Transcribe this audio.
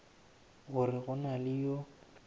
gore go na le yo